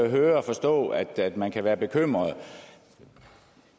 høre og forstå at man kan være bekymret